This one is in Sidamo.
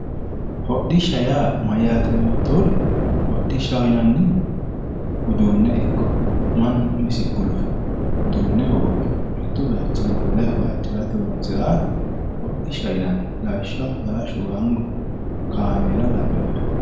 Hodhisha ya mayate yotohura hodhishahi yinanihu udune iki manu umisi gulufe udune hogope mittu bayichini wole bayicho harate horonsiraha hodhishaho yinanni lawishaho farashu gango kamela labinori